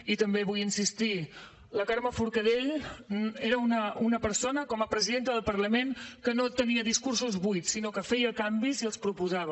i també hi vull insistir la carme forcadell era una persona com a presidenta del parlament que no tenia discursos buits sinó que feia canvis i els proposava